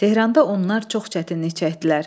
Tehranda onlar çox çətinlik çəkdilər.